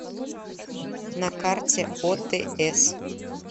на карте отс